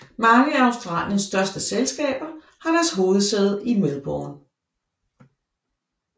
Mange af Australiens største selskaber har deres hovedsæde i Melbourne